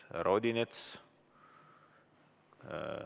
Härra Odinets?